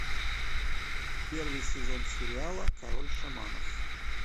первый сезон сериала король шаманов